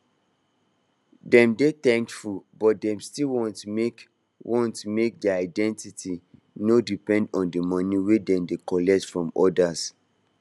dem dey thankful but dem still want make want make their identity no depend on the money wey dem dey collect from others